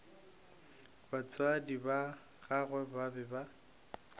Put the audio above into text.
batswadi ba gagwe ba be